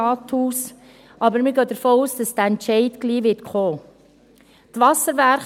Aber wir gehen davon aus, dass dieser Entscheid bald kommen wird.